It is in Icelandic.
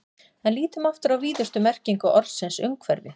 En lítum aftur á víðustu merkingu orðsins umhverfi.